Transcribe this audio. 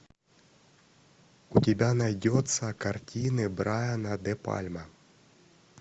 у тебя найдется картины брайана де пальма